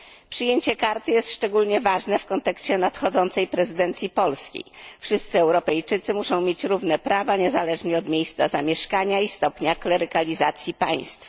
Przyjęcie karty jest szczególnie ważne w kontekście nadchodzącej prezydencji polskiej. Wszyscy Europejczycy muszą mieć równe prawa, niezależnie od miejsca zamieszkania i stopnia klerykalizacji państwa.